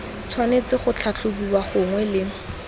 tshwanetse go tlhatlhobiwa gangwe le